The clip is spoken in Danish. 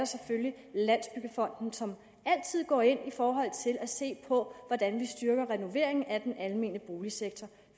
selvfølgelig landsbyggefonden som altid går ind i forhold til at se på hvordan vi styrker renovering af den almene boligsektor